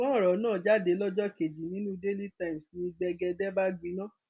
ṣùgbọn ọrọ náà jáde lọjọ kejì nínú daily times ni gbẹgẹdẹ bá gbiná